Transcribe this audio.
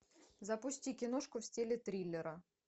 запусти киношку в стиле триллера